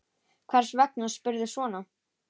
Hvers vegna spyrðu svona?